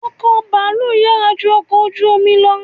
Ọkọ̀ baalu yàrá ju ọkọ ojú omi lọ